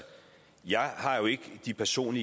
situationen